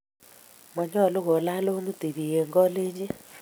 Manyalu kolaj longit tipik en kalenji.